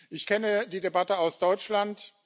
Ich kenne die Debatte aus Deutschland.